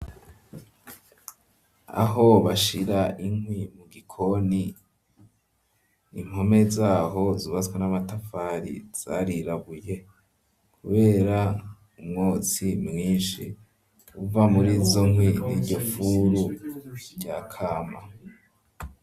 Aho bashira inkwi mu gikoni impome zaho zubatswe n'amatafari zarirabuye kubera umwotsi mwishi uva murizo nkwi n'iryo furu rya kama.